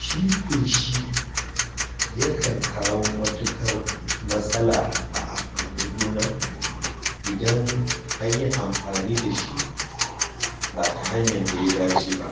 Shi feshi yakan kawo matuƙar matsala a amfani gona idan an yi amfani da shi ba ta hanyar da ta dace ba,